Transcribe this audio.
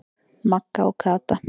Magga og Kata.